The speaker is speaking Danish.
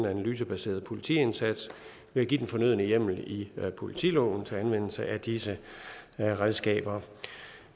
analysebaseret politiindsats ved at give den fornødne hjemmel i politiloven til anvendelse af disse redskaber